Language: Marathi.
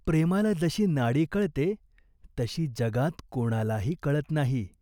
प्रेमाला जशी नाडी कळते, तशी जगात कोणालाही कळत नाही.